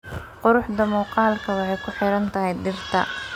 Quruxda muuqaalku waxay ku xiran tahay dhirta.